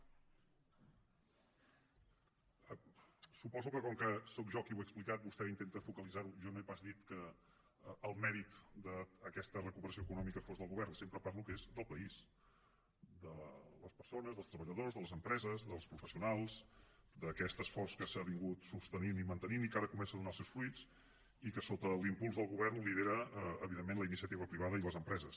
suposo que com que sóc jo qui ho ha explicat vostè intenta focalitzarho jo no he pas dit que el mèrit d’aquesta recuperació econòmica fos del govern sempre parlo que és del país de les persones dels treballadors de les empreses dels professionals d’aquest esforç que s’ha estat sostenint i mantenint i que ara comença a donar els seus fruits i que sota l’impuls del govern lidera evidentment la iniciativa privada i les empreses